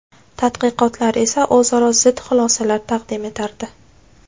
Tadqiqotlar esa o‘zaro zid xulosalar taqdim etardi.